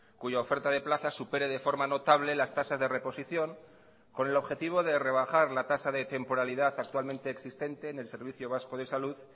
cuya oferta de plazas supere de forma notable las tasas de reposición con el objetivo de rebajar la tasa de temporalidad actualmente existente en el servicio vasco de salud